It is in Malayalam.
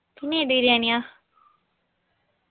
പിന്നെ ഏത് ബിരിയാണിയാ